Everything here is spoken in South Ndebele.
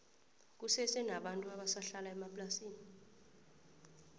kusese nabantu abasa hlala emaplasini